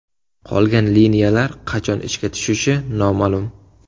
Qolgan liniyalar qachon ishga tushishi noma’lum.